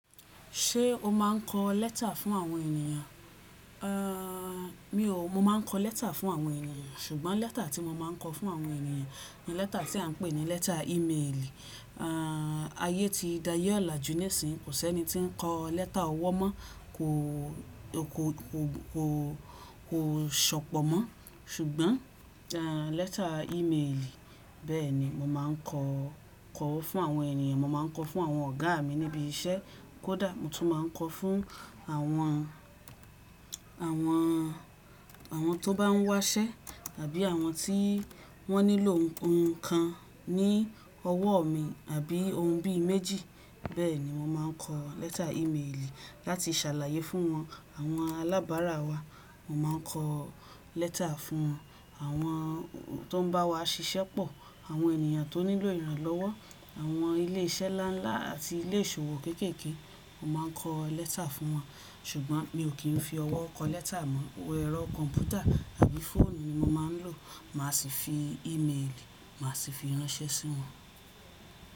Ṣé o máa ń kọ lẹ́tà fún àwọn ènìyàn? Mi ò. Mo máa ń kọ lẹ́tà fún àwọn ènìyàn, ṣùgbọ́n lẹ́tà tí mo máa ń kọ fún àwọn ènìyàn ni lẹ́tà tí à ń pè ní lẹ́tà ímailì. Ayé ti daaye olájú níìsín, kò sẹ́ni tí ń kọ lẹ́tà ọwọ́ mọ́, kò, kò, kò, kò, kò sọ̀pọ̀ mọ́. Ṣùgbọ́n lẹ́tà ímailì, bẹ́ẹ̀ni mo máa ń kọ, kọ fún àwọn ènìyàn. Mo máa ń kọ fún àwọn ọ̀gá mi níbi iṣẹ́ kódà, mo tún máa ń kọ fún àwọn, àwọn, àwọn tó bá ń wá iṣẹ́ tàbí àwọn tí wọ́n nílò nnkan ní ọwọ́ mi àbí ohun bí i méjì. Bẹ́ẹ̀ni mo máa ń kọ lẹ́tà ímailì láti ṣàlàyé fún wọn. Àwọn alábárà wa, mo máa ń kọ lẹ́tà fún wọn. Àwọn tó ń bá wa ṣiṣẹ́ pọ̀, àwọn ènìyàn tó nílò ìrànlọ́wọ́, àwọn ilé iṣẹ́ ńlá ńlá àti ilé ìṣòwò kéékèèké, mo máa ń kọ lẹ́tà fún wọn. Ṣùgbọ́n mi ò kí ń fi ọwọ́ kọ lẹ́tà mọ́, ẹ̀rọ kọ̀m̀pútà àbí fóònù ni mo máa ń lò. Màá sì fi ímailì, màá sì fi ránṣẹ́ sí wọn.